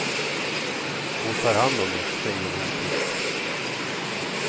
Hon tar hand om mig, säger hon tyst.